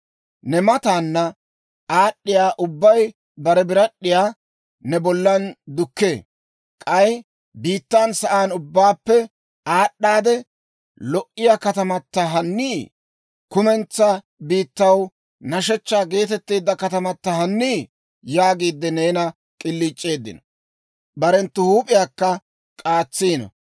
Ne mataana aad'd'iyaa ubbay bare birad'd'iyaa ne bollan dukkee. K'ay, «Biittan sa'aan ubbaappe aad'd'aade lo"iyaa katamata hannii? Kumentsaa biittaw nashshechchaa geetetteedda katamata hannii?» yaagiide neena k'iliic'eeddino; barenttu huup'iyaakka k'aatsiino.